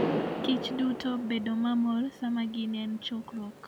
kichduto bedo mamor sama gin e chokruok.